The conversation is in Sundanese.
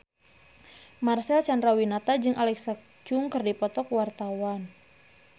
Marcel Chandrawinata jeung Alexa Chung keur dipoto ku wartawan